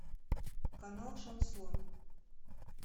канал шансон